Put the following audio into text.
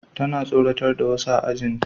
Tana tsoratar da wasu a ajin